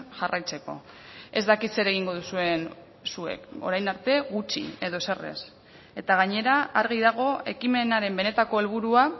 jarraitzeko ez dakit zer egingo duzuen zuek orain arte gutxi edo ezer ez eta gainera argi dago ekimenaren benetako helburua